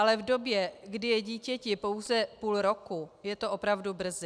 Ale v době, kdy je dítěti pouze půl roku, je to opravdu brzy.